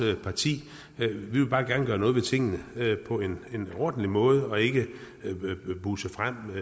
parti vi vil bare gerne gøre noget ved tingene på en ordentlig måde og ikke buse frem